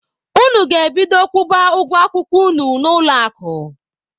Unu ga-ebido kwụba ụgwọ akwụkwọ unu na ụlọ akụ!.